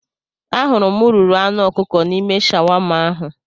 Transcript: Ahụrụ m ururu anụ ọkụkọ n'ime shawama ahụ